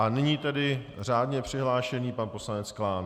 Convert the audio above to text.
A nyní tedy řádně přihlášený pan poslanec Klán.